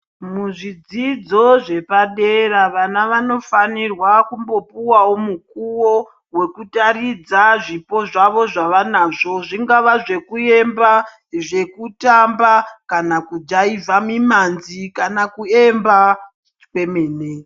Muzvidzidzo zvepadera vana vanofanirwa kumbopuwawo mukuwo wekutaridza zvipo zvavo zvavanazvo zvingave zvekuemba , zvekutamba kana kujaivha mimanzi kana kuemba kwemene .